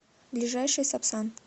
ближайший сапсан